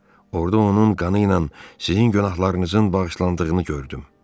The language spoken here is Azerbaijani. Orada onun qanı ilə sizin günahlarınızın bağışlandığını gördüm.